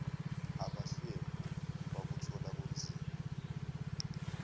abahlwempu bakuthola kunzima